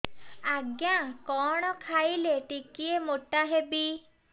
ଆଜ୍ଞା କଣ୍ ଖାଇଲେ ଟିକିଏ ମୋଟା ହେବି